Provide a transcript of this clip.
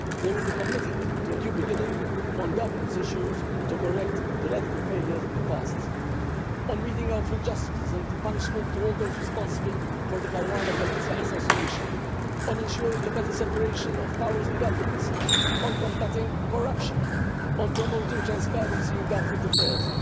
They will be committed to a new beginning on governance issues to correct the radical failures of the past, on meting out justice and punishment to all those responsible for the Caruana Galizia assassination, on ensuring a better separation of powers and governance, on combating corruption, on promoting transparency in government affairs.